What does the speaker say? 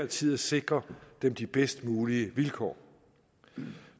tid at sikre dem de bedst mulige vilkår